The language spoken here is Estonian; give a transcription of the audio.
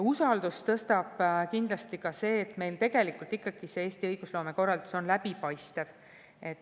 Usaldust tõstab kindlasti ka see, et Eesti õigusloome korraldus on tegelikult ikkagi läbipaistev.